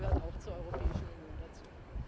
Das gehört auch zur Europäischen Union